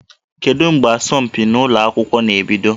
Kedu mgbe asọmpi ụlọ akwụkwọ na-ebido?